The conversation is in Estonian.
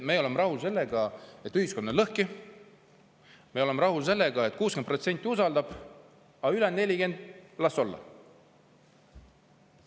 Me oleme rahul, kuigi ühiskond on lõhki, me oleme rahul sellega, et 60% usaldab, aga ülejäänud 40% las olla.